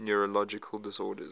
neurological disorders